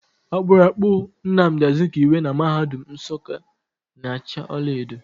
Akpụrụakpụ Namdị Azikiwe na mahadum Nsukka na acha ọlaedo.